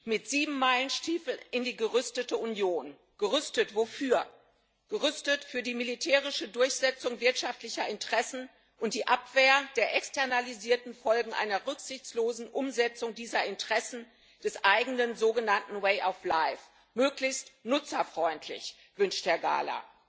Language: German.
Herr Präsident! Mit Siebenmeilenstiefeln in die gerüstete Union. Gerüstet wofür? Gerüstet für die militärische Durchsetzung wirtschaftlicher Interessen und die Abwehr der externalisierten Folgen einer rücksichtslosen Umsetzung dieser Interessen, des eigenen sogenannten way of life, möglichst nutzerfreundlich, wünscht Herr Gahler.